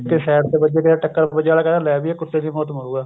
Side ਤੇ ਵੱਜੇ ਚਾਹੇ ਟੱਕਰ ਵੱਜੇ ਅਗਲਾ ਕਹਿੰਦਾ ਲੈ ਵੀ ਇਹ ਕੁੱਤੇ ਦੀ ਮੌਤ ਮਰੁਗਾ